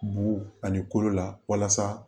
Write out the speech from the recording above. Bu ani kolo la walasa